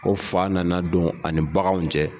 Ko fa nana don ani baganw cɛ.